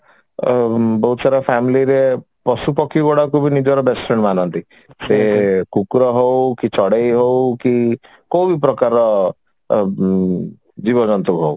ଅ ବହୁତ ସାରା family ରେ ପଶୁ ପକ୍ଷୀ ଗୁଡାକୁ ବି ନିଜର best friend ମାନନ୍ତି ସେ କୁକୁର ହଉ କି ଚଢେଇ ହଉ କି କଉ ବି ପ୍ରକାରର ଅ ଜୀବ ଜନ୍ତୁ ହଉ